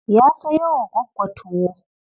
Ya sayo wa Gwaggo tuwo.